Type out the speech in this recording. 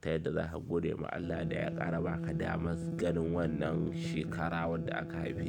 Ta yadda za ka gode ma Allah da ya ƙara ba ka damar ganin wannan shekara wanda aka haife ka.